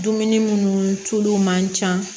Dumuni munnu tulu man ca